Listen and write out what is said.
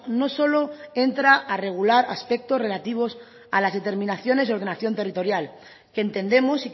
no solo entra a regular aspectos relativos a las determinaciones de ordenación territorial que entendemos